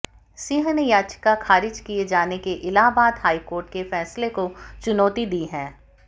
सिंह ने याचिका खारिज किए जाने के इलाहाबाद हाईकोर्ट के फैसले को चुनौती दी है